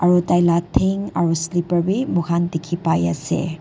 aru taila thank aro slipper bi moikhan dikhipaiase.